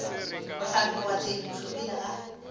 bohlatse goba tshedimošo pele ga